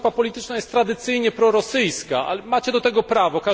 Pana grupa polityczna jest tradycyjnie prorosyjska, ale macie do tego prawo.